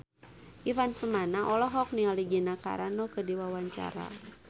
Ivan Permana olohok ningali Gina Carano keur diwawancara